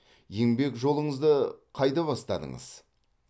еңбек жолыңызды қайда бастадыңыз